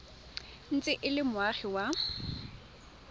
ntse e le moagi wa